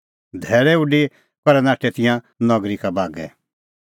धैल़अ उडी करै नाठै तिंयां नगरी का बागै